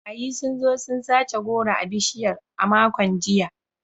Barayi sun zo sun sace goro a bishiyar a makon jiya.